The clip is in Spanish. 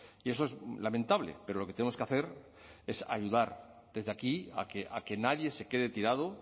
y eso es lamentable pero lo que tenemos que hacer es ayudar desde aquí a que nadie se quede tirado